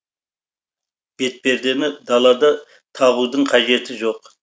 бетпердені далада тағудың қажеті жоқ